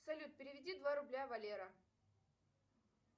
салют переведи два рубля валера